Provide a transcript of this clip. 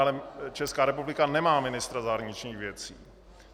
Ale Česká republika nemá ministra zahraničních věcí.